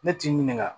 Ne t'i ɲininka